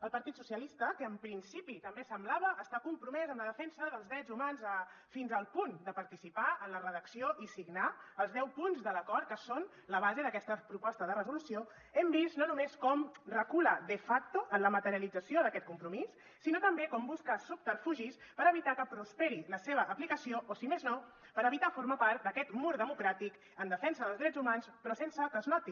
el partit socialista que en principi també semblava estar compromès amb la defensa dels drets humans fins al punt de participar en la redacció i signar els deu punts de l’acord que són la base d’aquesta proposta de resolució hem vist no només com recula de facto en la materialització d’aquest compromís sinó també com busca subterfugis per evitar que prosperi la seva aplicació o si més no per evitar formar part d’aquest mur democràtic en defensa dels drets humans però sense que es noti